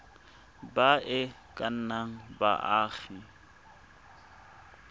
ba e ka nnang baagi